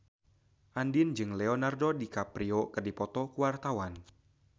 Andien jeung Leonardo DiCaprio keur dipoto ku wartawan